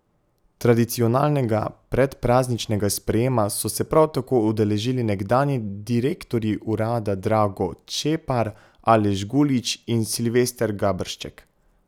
Tradicionalnega predprazničnega sprejema so se prav tako udeležili nekdanji direktorji urada Drago Čepar, Aleš Gulič in Silvester Gabršček.